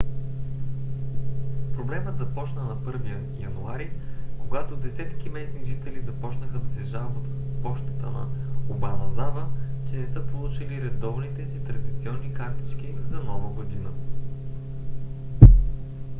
проблемът започна на 1 януари когато десетки местни жители започнаха да се жалват в пощата на обаназава че не са получили редовните си традиционни картички за нова година